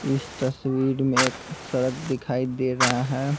इस तस्वीर में एक सड़क दिखाई दे रहा है।